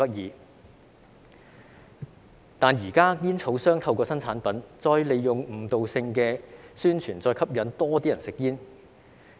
可是，現在煙草商透過新產品，再利用誤導性的宣傳，吸引更多人吸煙。